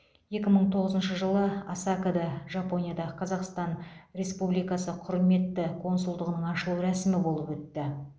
екі мың тоғызыншы жылы осакада жапонияда қазақстан республикасы құрметті консулдығының ашылу рәсімі болып өтті